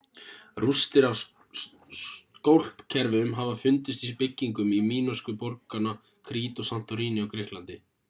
rústir af skólpkerfum hafa fundist í byggingum mínósku borganna krít og santorini á grikklandi